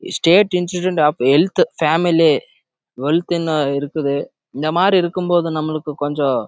insurance of health இருக்குது இந்த மாரி இருக்கறப்போ